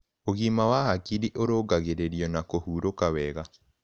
Ũgima wa hakĩrĩ ũrũngagĩririo na kũhũrũka wega